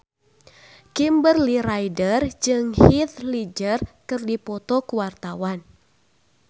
Kimberly Ryder jeung Heath Ledger keur dipoto ku wartawan